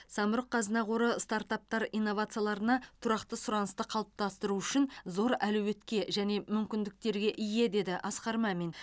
самұрық қазына қоры стартаптар инновацияларына тұрақты сұранысты қалыптастыру үшін зор әлеуетке және мүмкіндіктерге ие деді асқар мамин